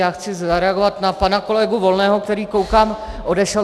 Já chci zareagovat na pana kolegu Volného, který, koukám, odešel.